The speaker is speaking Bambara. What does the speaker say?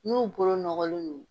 N'u bolo nɔgɔlen don